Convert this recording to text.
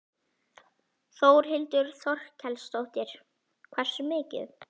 Þórhildur Þorkelsdóttir: Hversu mikið?